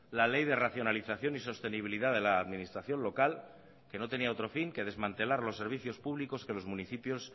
la ley de racionalización y sostenibilidad de la administración local que no tenía otro fin que desmantelar los servicios públicos que los municipios